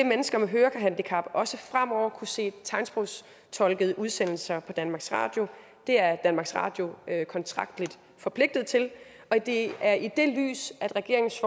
mennesker med hørehandicap også fremover kunne se tegnsprogstolkede udsendelser på danmarks radio det er danmarks radio kontraktligt forpligtet til og det er i det lys at regeringens